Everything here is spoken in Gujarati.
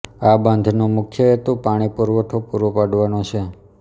આ બંધનો મુખ્ય હેતુ પાણી પુરવઠો પૂરો પાડવાનો છે